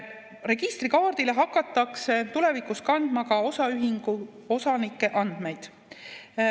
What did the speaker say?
Registrikaardile hakatakse tulevikus kandma ka osaühingu osanike andmeid.